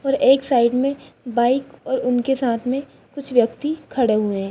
और एक साइड में बाइक और उनके साथ में कुछ व्यक्ति खड़े हुए हैं।